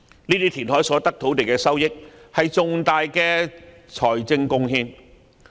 由填海所得土地的收益，是重大的財政貢獻。